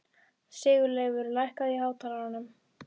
Sigurleifur, lækkaðu í hátalaranum.